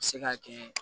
Se ka kɛ